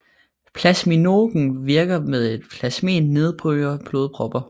Plasminogen virker ved at plasmin nedbryder blodpropper